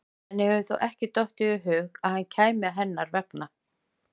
Henni hefur þó ekki dottið í hug að hann kæmi hennar vegna?